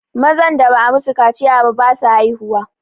mazan da ba a yi masu kaciya ba basu haihuwa